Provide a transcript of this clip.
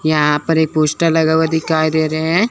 यहां पर एक पोस्टर लगा हुआ दिखाई दे रहे हैं।